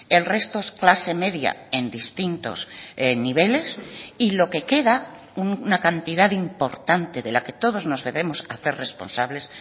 el resto es clase media en distintos niveles y lo que queda una cantidad importante de la que todos nos debemos hacer responsables